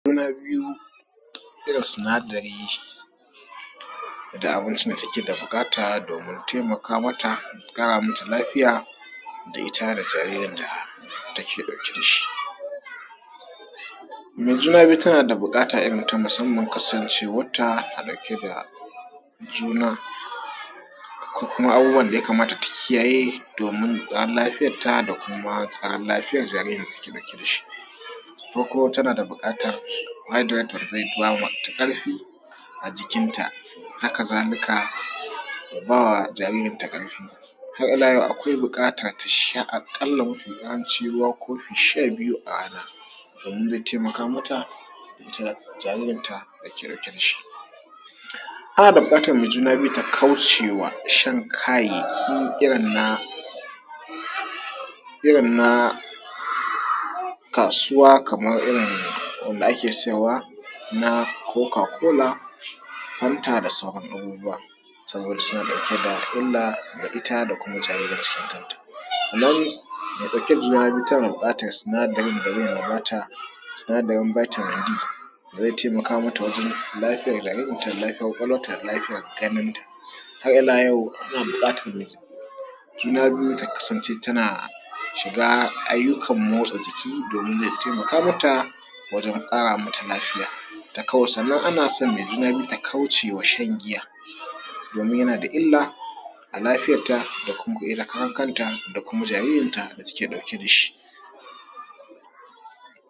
Juna biyu, sinadari da mace take buƙata domin taimaka mata da ƙara mata lafiya da ita da jaririn ta da take ɗauke da shi, me juna biyu tana da buƙata ta musamman kasancewanta me juna da kuma abubuwan da ya kamata ta kiyaye domin lafiyarta da kuma tsaron lafiyar jaririn da take ɗauke da shi ko kuma take da buƙatan haidirat of liba wot ƙarfi a jikinta. Haka zalika ku ba wa jaririn ta ƙarfi har ila yau akwai buƙata ta sha ruwa a ƙalla kofi sha biyu a rana ze taimaka mata ita da jaririn ta da take ɗauke da shi, ana buƙatan me juna btyu ta kauce ma shan kayayyaki irin na irin na kasuwa kaman irin wanda ake siyarwa na koka kola, Fanta da sauransu saboda illa da ita da jarin rinta. Idan me ɗauke da juna biyu tana buƙatan sinadarin da ze ba ta sinadarin da ze taimaka mata wajen lafiyar jaririn ta da lafiyan kwakwalwanta da lafiyan ganinta har ila yau ana buƙatan me juna biyu ta kasance tana shiga ayyukan motsa jiki domin ze taimaka mata wajen ƙara mata lafiya, sannan ana son me juna biyu ta kauce ma shan giya domin yana da illa da lafiyanta da kanta da kuma jaririnta da take ɗauke da shi.